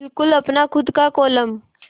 बिल्कुल अपना खु़द का कोलम